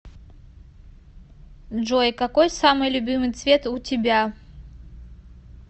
джой какой самый любимый цвет у тебя